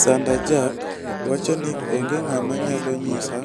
Sanda jack wach ni onge ng'ama nyalo nyisa